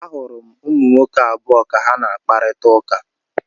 Ahụrụ m ụmụ nwoke abụọ ka ha na-akparịta ụka.